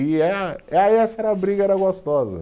E eh, ah e essa era briga, era gostosa.